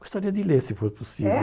Gostaria de ler, se for possível. É